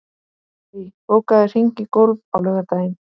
Marie, bókaðu hring í golf á laugardaginn.